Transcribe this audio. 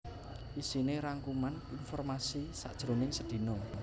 Iisiné rangkuman informasi sajroning sedina